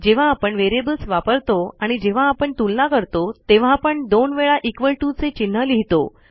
जेव्हा आपण व्हेरिएबल्स वापरतो आणि जेव्हा आपण तुलना करतो तेव्हा आपण दोन वेळा इक्वॉल टीओ चे चिन्ह लिहितो